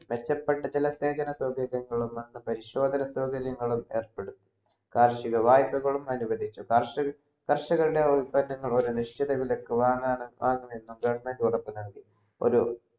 മെച്ചപ്പെട്ട ചില സേവന സൗകര്യങ്ങളും നല്ല പരിശോധന സൗകര്യങ്ങളും ഏർപ്പെടും കാർഷിക വായ്പകൾ അനുവദിച്ചു കർഷകർ കർഷകരുടെ വില്പനകൾ ഒരു നിശ്ചിത വിലക്കു വാങ്ങാൻ government വാങ്ങാൻ വാങ്ങാണെന്നും government ഉറപ്പു നൽകി ഒരു